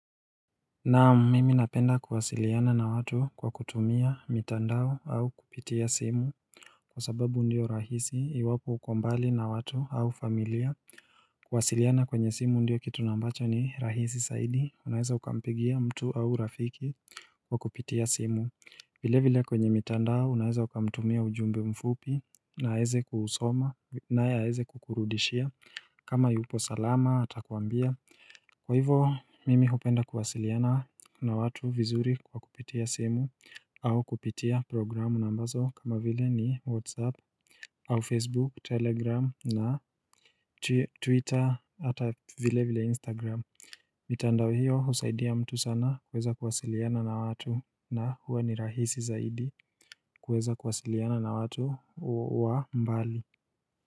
Naam mimi napenda kuhasiliana na watu kwa kutumia mitandao au kupitia simu Kwa sababu ndio rahisi iwapo ukombali na watu au familia Kuhasiliana kwenye simu ndio kitu nambacho ni rahisi saidi unaheza ukampigia mtu au rafiki kwa kupitia simu vile vile kwenye mitandao unaheza ukamtumia ujumbe mfupi na aweze kuhusoma na heze kukurudishia kama yupo salama atakuambia Kwa hivo mimi hupenda kuwasiliana na watu vizuri kwa kupitia simu au kupitia programu nambazo kama vile ni Whatsapp au Facebook, Telegram na Twitter ata vile vile Instagram Mitandawe hiyo husaidia mtu sana kuweza kuwasiliana na watu na huwa ni rahisi zaidi kuweza kuwasiliana na watu wa mbali.